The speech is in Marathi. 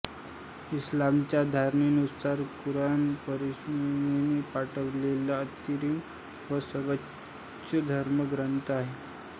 इस्लामाच्या धारणेनुसार कुराण परमेश्वराने पाठवलेला अंतिम व सर्वोच्च धर्मग्रंथ आहे